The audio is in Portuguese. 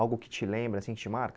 Algo que te lembra assim, que te marca?